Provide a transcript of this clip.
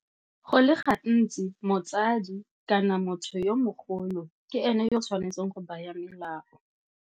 Go le gantsi motsadi kana motho yo mogolo ke ene yo tshwanetseng go baya melao.